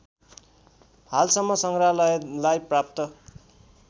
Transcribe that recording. हालसम्म सङ्ग्रहालयलाई प्राप्त